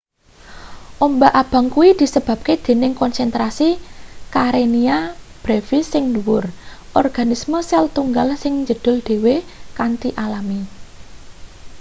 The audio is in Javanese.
ombak abang kuwi disebabke dening konsentrasi karenia brevis sing dhuwur organisme sel-tunggal sing njedhul dhewe kanthi alami